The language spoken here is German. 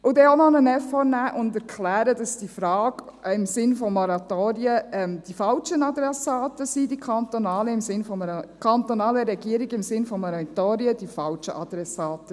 Und man kann auch gleich noch einen Effort machen und erklären, dass die kantonalen Regierungen im Sinn von Moratorien die falschen Adressaten sind.